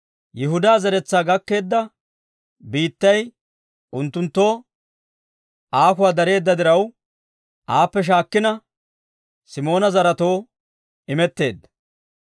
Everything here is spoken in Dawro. Yihudaa zeretsaa gakkeedda biittay unttunttoo aakuwaa dareedda diraw, aappe shaakkina Simoona zaretoo imetteedda.